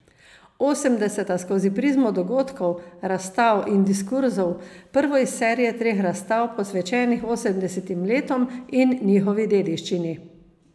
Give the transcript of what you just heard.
Osemdeseta skozi prizmo dogodkov, razstav in diskurzov, prvo iz serije treh razstav, posvečenih osemdesetim letom in njihovi dediščini.